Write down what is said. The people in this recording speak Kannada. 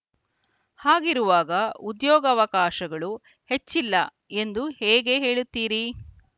ಹಾಗಿರುವಾಗ ಉದ್ಯೋಗಾವಕಾಶಗಳು ಹೆಚ್ಚಿಲ್ಲ ಎಂದು ಹೇಗೆ ಹೇಳುತ್ತೀರಿ